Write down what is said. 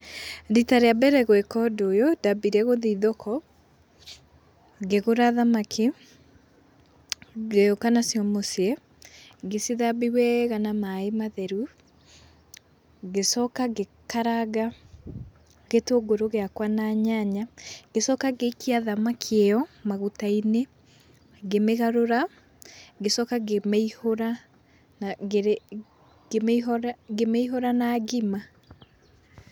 Rita rĩa mbere gwĩka ũndũ ũyũ, ndambire gũthi thoko, ngĩgũra thamaki, ngĩũka nacio mũciĩ, ngĩcithambia weega na maĩ matheru, ngĩcoka ngĩkaranga gĩtũngũrũ gĩakwa na nyanya, ngĩcoka ngĩikia thamaki ĩyo maguta-inĩ, ngĩmĩgarũra, ngĩcoka ngĩmĩihũra ngĩmĩihũra na ngima.